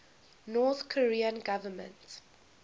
north korean government